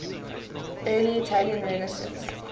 early italian renaissance